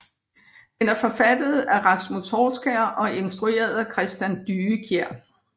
Den er forfattet af Rasmus Horskjær og instrueret af Christian Dyekjær